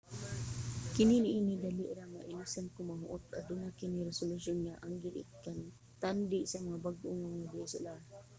kasagaran niini dali ra mailisan kon mahurot aduna kini resolution nga anggid ikantandi sa mga bag-o nga dslr